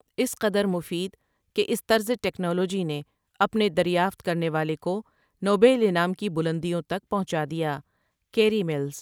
اس قدر مفید کے اس طــرز ٹکنالوجی نے اپنے دریافت کرنے والے کو نوبل انعام کی بلندیوں تک پہنچادیا کیری ملس ۔